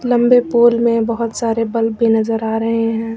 लंबे पोल में बहुत सारे बल्ब भी नजर आ रहे हैं।